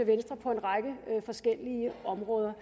venstre på en række forskellige områder